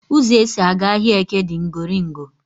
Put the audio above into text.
Ụzọ e si aga ahịaEke di ngoringo